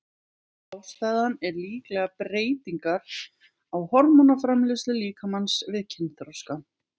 Ástæðan er líklega breytingar á hormónaframleiðslu líkamans við kynþroska.